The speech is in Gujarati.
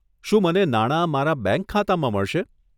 શું મને નાણા મારા બેંક ખાતામાં મળશે?